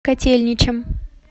котельничем